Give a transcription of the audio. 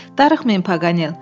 “Darıxmayın, Paqanel.